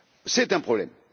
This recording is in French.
C'est un problème!